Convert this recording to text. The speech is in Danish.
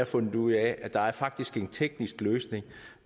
fundet ud af at der faktisk er en teknisk løsning